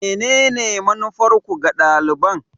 Menene manufarku ga daliban?